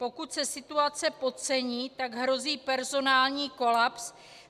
Pokud se situace podcení, tak hrozí personální kolaps.